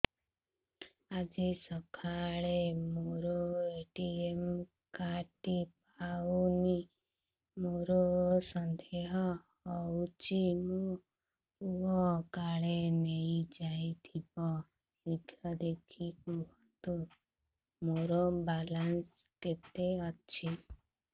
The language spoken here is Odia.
ଆଜି ସକାଳେ ମୋର ଏ.ଟି.ଏମ୍ କାର୍ଡ ଟି ପାଉନି ମୋର ସନ୍ଦେହ ହଉଚି ମୋ ପୁଅ କାଳେ ନେଇଯାଇଥିବ ଶୀଘ୍ର ଦେଖି କୁହନ୍ତୁ ମୋର ବାଲାନ୍ସ କେତେ ଅଛି